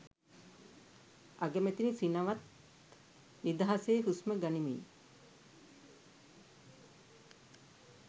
අගමැතිනි සිනවත් නිදහසේ හුස්ම ගනිමින්